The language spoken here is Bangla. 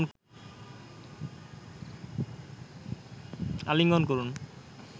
আলিঙ্গন করুন